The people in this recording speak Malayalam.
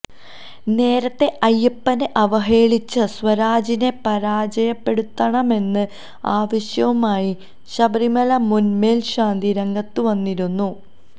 നേരത്തെ അയ്യപ്പനെ അവഹേളിച്ച സ്വരാജിനെ പരാജയപ്പെടുത്തണമെന്ന ആവശ്യവുമായി ശബരിമല മുൻ മേൽശാന്തി രംഗത്തുവന്നിരുന്നു